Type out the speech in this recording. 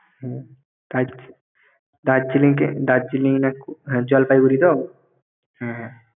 হম । দার্জিলিং~ দার্জিলিং না জলপাইগুড়ি তো?